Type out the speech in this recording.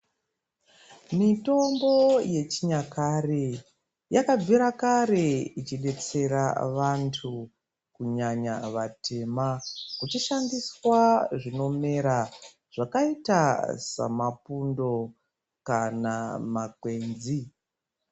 Mitombo yechinyakare yakabvira kare ichibetsera vantu kunyanya vatema. Kuchishandiswa zvinomera zvakaita semapundo kana makwenzi.